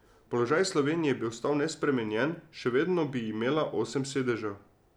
Položaj Slovenije bi ostal nespremenjen, še vedno bi imela osem sedežev.